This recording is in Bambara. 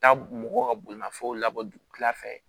Taa mɔgɔ ka bolimafɛnw labɔ dugufɛla fɛ